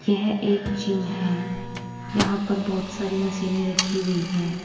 यह एक जिम है यहां पर बहुत सारी मशीनें रखी हुई हैं।